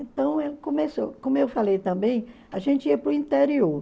Então, começou como eu falei também, a gente ia para o interior.